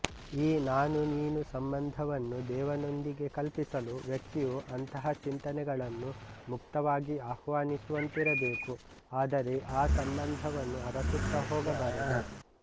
ಈ ನಾನುನೀನು ಸಂಬಂಧವನ್ನು ದೇವನೊಂದಿಗೆ ಕಲ್ಪಿಸಲು ವ್ಯಕ್ತಿಯು ಅಂತಹ ಚಿಂತನೆಗಳನ್ನು ಮುಕ್ತವಾಗಿ ಆಹ್ವಾನಿಸುವಂತಿರಬೇಕು ಆದರೆ ಆ ಸಂಬಂಧವನ್ನು ಅರಸುತ್ತಾ ಹೋಗಬಾರದು